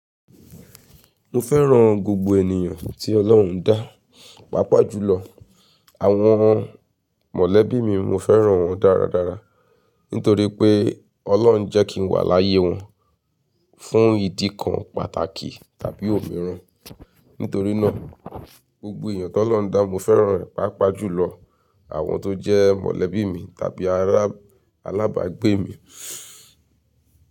Mo fẹ́ràn gbogbo ènìyàn tí Ọlọ́run dá, pàápàá jùlọ àwọn mọ̀lẹ́bí mi, mo fẹ́ràn wọ́n dáradára nítorí pé Ọlọ́run jẹ́ kí n wà láyé wọn fún ìdí kan pàtàkì tàbí òmíràn. Nítorí náà gbogbo èèyàn tó lọ́dà, mo fẹ́ràn rẹ̀, pàápàá jùlọ àwọn tó jẹ́ mọ̀lẹ́bí mi tàbí alábàgbé mi.